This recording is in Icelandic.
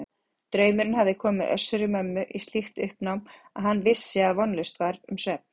Draumurinn hafði komið Össuri-Mömmu í slíkt uppnám að hann vissi að vonlaust var um svefn.